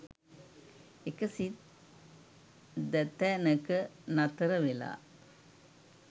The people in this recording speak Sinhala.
එක සිත් දැතැනක නතර වෙලා